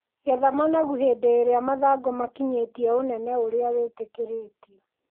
Getha managu hĩndĩ ĩrĩa mathangũ makinyĩtie ũnene ũrĩa wĩtĩkĩrĩtio.